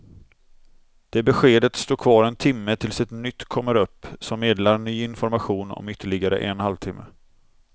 Det beskedet står kvar en timme tills ett nytt kommer upp som meddelar ny information om ytterligare en halv timme.